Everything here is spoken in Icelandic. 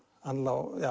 hann lá